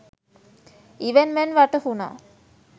ඉවෙන් මෙන් වැටහුනා.